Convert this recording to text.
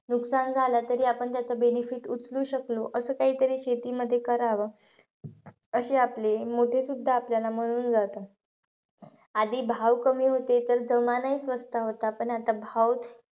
नुकसान झालं तरी आपण त्याचं benefit उचलो शकलो असं काहीतरी शेतीमध्ये करावं. अशे आपले मोठे सुद्धा आपल्याला म्हणून जातात. आधी भाव कमी होते, तर जमानाही स्वस्त होता. पण आता भाव,